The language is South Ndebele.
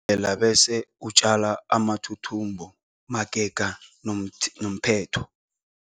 na bese utjale amathuthumbo magega nomth nomphetho.